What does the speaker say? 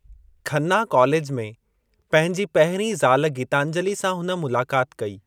Khanna college में पंहिंजी पहिरीं ज़ाल गीतांजली सां हुन मुलाक़ात कई।